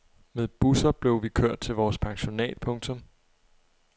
Med busser blev vi kørt til vores pensionat. punktum